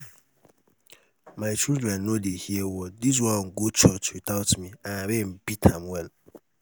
my children no dey hear word dis one go church without me and rain beat am well.